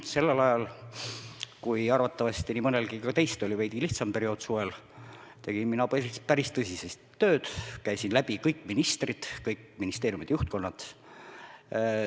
Sellel ajal, kui arvatavasti nii mõnelgi teist oli veidi lihtsam suvine periood, tegin mina päris tõsiselt tööd, käisin läbi kõik ministrid, kõik ministeeriumide juhtkonnad.